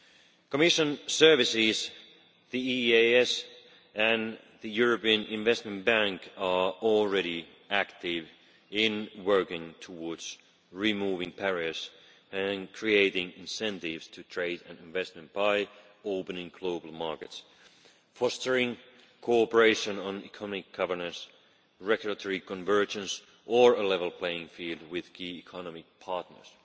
The Commission services, the EEAS and the European Investment Bank are already active in working towards removing barriers and creating incentives to trade and investment by opening global markets, fostering cooperation on economic governance, regulatory convergence or a level playing field with key economic partners.